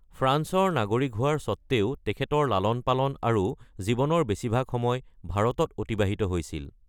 ফ্ৰান্সৰ নাগৰিক হোৱাৰ স্বত্ত্বেও তেখেতৰ লালন-পালন আৰু জীৱনৰ বেছিভাগ সময় ভাৰতত অতিবাহিত হৈছিল।